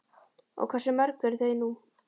Og hversu mörg eru þau nú?